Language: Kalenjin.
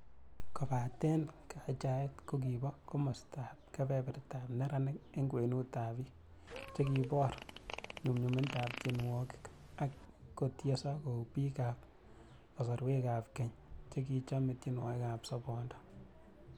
Kobaten kachaet kokiba komostab kebebertab neranik en kwenutab bik, chekibor nyumyumindab tienwogik ak kotieso kou bik ak kasorwogikab keny chekichome tionwogikab sobondo.